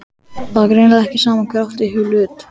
Það var greinilega ekki sama hver átti í hlut.